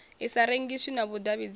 i sa rengiswi na vhudavhidzano